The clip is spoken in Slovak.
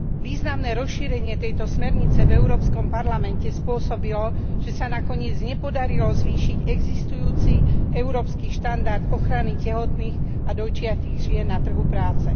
Významné rozšírenie tejto smernice v Európskom parlamente spôsobilo, že sa nakoniec nepodarilo zvýšiť existujúci európsky štandard ochrany tehotných a dojčiacich žien na trhu práce.